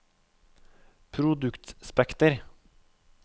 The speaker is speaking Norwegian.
produktspekter